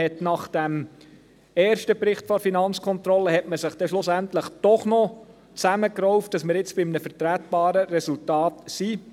Nach diesem ersten Bericht der FK hat man sich schlussendlich doch noch zusammengerauft, damit wir jetzt bei einem vertretbaren Resultat sind.